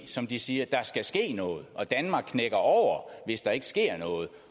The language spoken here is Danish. som de siger der skal ske noget og danmark knækker over hvis der ikke sker noget